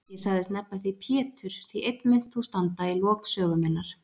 Ég sagðist nefna þig Pétur því einn munt þú standa í lok sögu minnar.